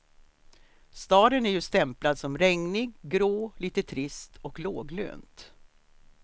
Staden är ju stämplad som regnig, grå, lite trist och låglönt.